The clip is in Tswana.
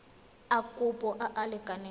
a kopo a a lekaneng